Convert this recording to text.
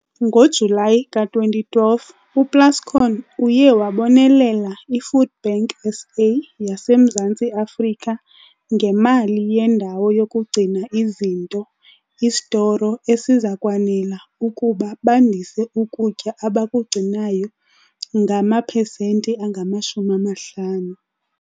Ngo-Julayi ka-2012, uPlascon uye wabonelela iFoodBank SA, yaseMzantsi Afrika, ngemali yendawo yokugcina izinto isitoro - esiza kwanela ukuba bandise ukutya abakugcinayo ngamapesenti angama-50.